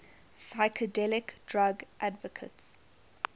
psychedelic drug advocates